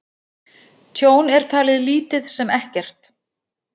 Tjón er talið lítið sem ekkert